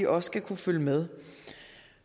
også skal kunne følge med